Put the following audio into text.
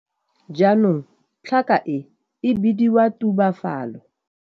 Jaanong tlhaka e e bidiwa tubafalo.